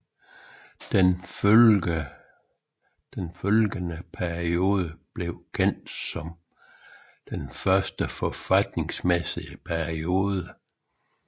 Den følgende periode blev kendt som den første forfatningsmæssige periode